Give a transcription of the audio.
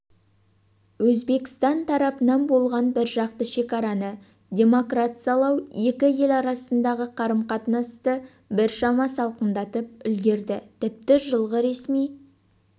өзбекстан тарапынан болған біржақты шекараны демаркациялау екі ел арасындағы қарым-қатынасты біршама салқындатып үлгерді тіпті жылғы ресми